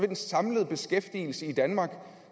den samlede beskæftigelse i danmark